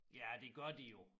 Ja det gør de jo